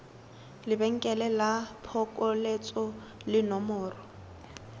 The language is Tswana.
lebenkele la phokoletso le nomoro